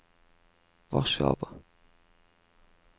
Warszawa